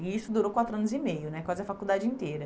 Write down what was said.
E isso durou quatro anos e meio né, quase a faculdade inteira.